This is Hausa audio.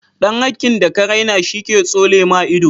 Dan hakin da ka raina shi ke tsole ma ido.